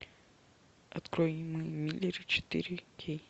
открой мы миллеры четыре кей